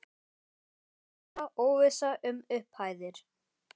Það var bara óvissa um upphæðir?